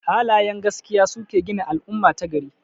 Halayen gaskiya suke gina al'umma ta gari.